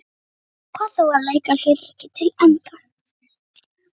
Hann ákvað þó að leika hlutverkið til enda.